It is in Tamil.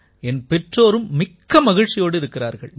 என் பெற்றோரும் மிக்க மகிழ்ச்சியோடு இருக்கிறார்கள்